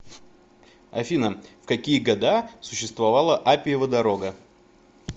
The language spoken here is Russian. афина в какие года существовала аппиева дорога